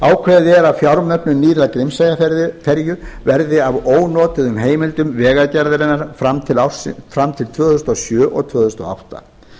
er að fjármögnun nýrrar grímseyjarferju verði af ónotuðum heimildum vegagerðarinnar fram til tvö þúsund og sjö og tvö þúsund og átta